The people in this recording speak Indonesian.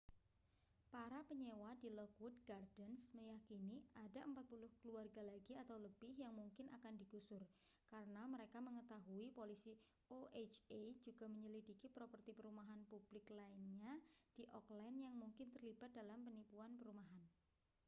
para penyewa di lockwood gardens meyakini ada 40 keluarga lagi atau lebih yang mungkin akan digusur karena mereka mengetahui polisi oha juga menyelidiki properti perumahan publik lainnya di oakland yang mungkin terlibat dalam penipuan perumahan